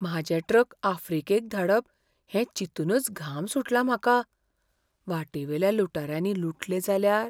म्हाजे ट्रक आफ्रिकेक धाडप हें चिंतूनच घाम सुटला म्हाका. वाटेवेल्या लुटाऱ्यांनी लुटले जाल्यार?